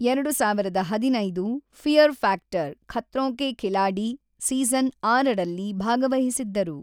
ಎರಡು ಸಾವಿರದ ಹದಿನೈದು fear factor Khatron ke Khiladi season ಆರುರಲ್ಲಿ ಭಾಗವಹಿಸಿದ್ದರು.